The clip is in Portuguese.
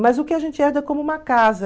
Mas o que a gente herda é como uma casa.